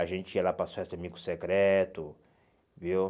A gente ia lá para as festas de amigo secreto, viu?